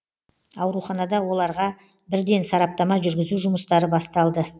ауруханада оларға бірден сараптама жүргізу жұмыстары басталды